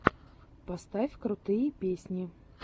поставь крутые песни